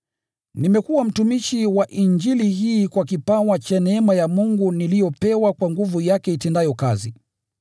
Nimekuwa mtumishi wa Injili hii kwa kipawa cha neema ya Mungu niliyopewa kwa nguvu yake itendayo kazi.